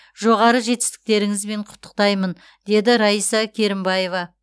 жоғары жетістіктеріңізбен құттықтаймын деді раиса керімбаева